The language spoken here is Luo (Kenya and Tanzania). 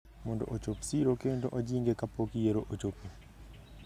mondo ochop siro kendo ojing’e kapok yiero ochopo.